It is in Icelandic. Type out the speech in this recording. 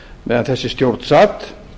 meðan þessi stjórn sat